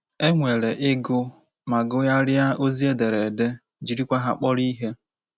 E nwere ịgụ ma gụgharịa ozi ederede — jirikwa ha kpọrọ ihe.